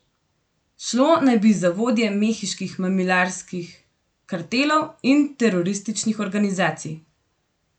Šlo naj bi za vodje mehiških mamilarskih kartelov in terorističnih organizacij.